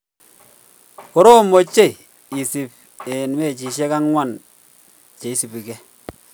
Koroom ochei isiir eng mechishek angwan cheisubige